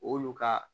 Olu ka